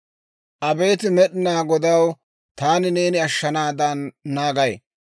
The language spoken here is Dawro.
Abeet Med'inaa Godaw, taani neeni ashshanaadan naagay.